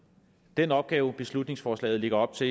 den opgave beslutningsforslaget lægger op til